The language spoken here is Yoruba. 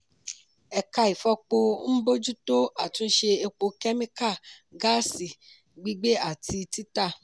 ẹ̀ka ìfọpo ń bójútó àtúnṣe epo kẹ́míkà gáàsì gbígbé àti títà.